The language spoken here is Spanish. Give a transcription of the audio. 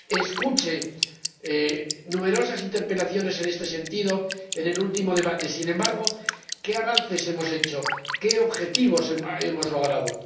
Escuché numerosas interpelaciones en este sentido en el último debate. Sin embargo, ¿qué avances hemos hecho? ¿Qué objetivos hemos logrado?